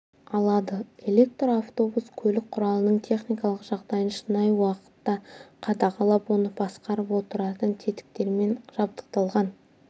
алады электр автобус көлік құралының техникалық жағдайын шынайы уақытта қадағалап оны басқарып отыратын тетіктермен жабдықталған